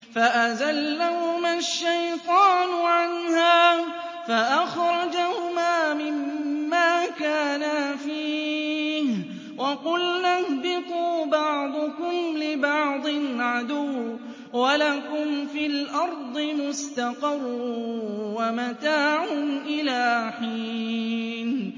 فَأَزَلَّهُمَا الشَّيْطَانُ عَنْهَا فَأَخْرَجَهُمَا مِمَّا كَانَا فِيهِ ۖ وَقُلْنَا اهْبِطُوا بَعْضُكُمْ لِبَعْضٍ عَدُوٌّ ۖ وَلَكُمْ فِي الْأَرْضِ مُسْتَقَرٌّ وَمَتَاعٌ إِلَىٰ حِينٍ